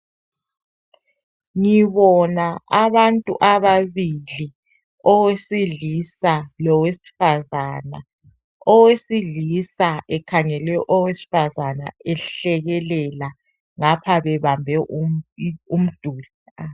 Ngibona abantu ababili, owesilisa lowesfazana. Owesilisa ekhangele owesfazana ehlekelela ngapha bebambe um... i... umduli.